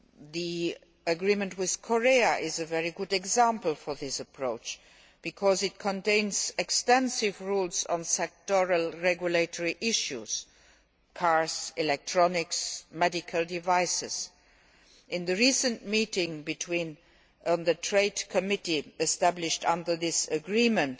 The agreement with Korea is a very good example of this approach because it contains extensive rules on sectoral regulatory issues cars, electronics and medical devices. In the recent meeting of the Trade Committee established under the agreement,